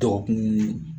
Dɔgɔkun